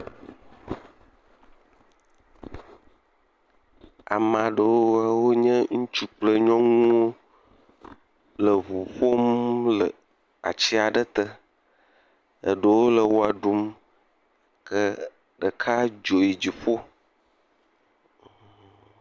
Ame aɖewo wonye ŋutsu kple nyɔnuwo le ŋu ƒom le atsi aɖe tɔ. Eɖowo le wɔ ɖum ke ɖeka dzo yi dziƒo.